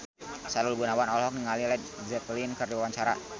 Sahrul Gunawan olohok ningali Led Zeppelin keur diwawancara